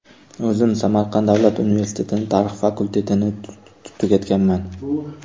O‘zim Samarqand davlat universitetining tarix fakultetini tugatganman.